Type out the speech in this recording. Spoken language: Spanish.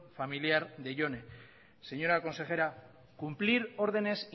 familiar de jone señora consejera cumplir órdenes